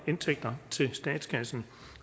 indtægter til statskassen